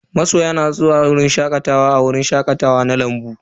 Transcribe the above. Masoya na zuwa shakatawa a wajen shakatawa na lambu.